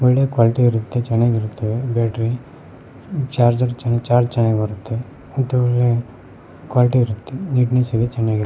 ಒಳ್ಳೆ ಕ್ವಾಲಿಟಿ ಇರುತ್ತೆ ಚೆನ್ನಾಗ್ ಇರುತ್ತೆವೆ ಬ್ಯಾಟರಿ ಚಾರ್ಜರ್ ಚಾರ್ಜ್ ಚೆನ್ನಾಗ್ ಬರುತ್ತೆ ಮತ್ತು ಒಳ್ಳೆ ಕ್ವಾಲಿಟಿ ಇರುತ್ತೆ ನೆಟ್ನೆಸ್ ಇದೆ ಚೆನ್ನಾಗಿದೆ.